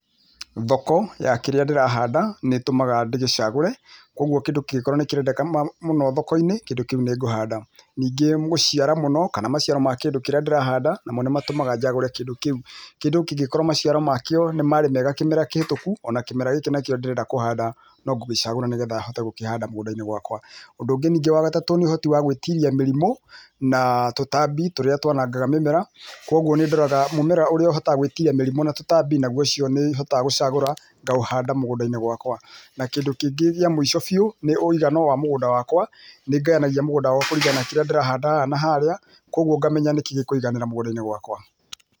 Thoko ya kĩrĩa ndĩrahanda nĩtũmaga ndĩgĩcagũre kwoguo kĩndũ angĩkorwo nĩkĩrendeka mũno thokoinĩ kĩndũ kĩu nĩngũhanda nĩngĩ gũciara mũno kana maciaro ma kĩndũ kĩrĩa ndĩrahanda namo nĩmatũmaga njagũre kĩndũ kĩu. Kĩndũ kĩngĩkorwo maciara makĩo nĩmarĩ mega kĩmera kĩhĩtũku ona kĩmera gĩkĩ nakĩo ndĩrenda kũhanda nongĩgĩcagũra nĩgetha hote kũgĩcagũra nĩgetha hote kũhanda mũgũndainĩ wakwa. Ũndũ ũngĩ ningĩ wa gatatũ nĩũhoti wa gũtiria mĩrimũ na[uuhh] tũtambi tũrĩa twanangaga mĩmera kwoguo nĩndoraga mũmera ũríĩa ũhotaga gũtira tũtambi nau ũcio nĩhotaga gũcagũra ngaũhanda mũgũndainĩ wakwa na, kĩndũ kĩngĩ kĩa mũico biũ ũigano wa mũgúnda wakwa nĩngayanagia mũgũnda kũringana na kĩrĩa ndĩrahandaga naharĩa kwoguo ngamenya nĩkĩĩ gĩkũiganĩra mũgũnda wakwa.